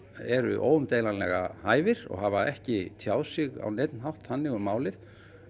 eru óumdeilanlega hæfir og hafa ekki tjáð sig á neinn hátt þannig um málið